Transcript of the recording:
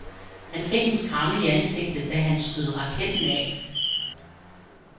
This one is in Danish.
Han fik en skramme i ansigtet, da han skød raketten af.